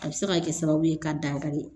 A bɛ se ka kɛ sababu ye ka dagari